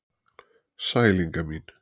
Sæl Inga mín.